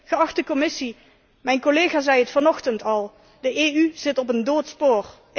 Geachte Commissie, mijn collega zei het vanochtend al de EU zit op een dood spoor.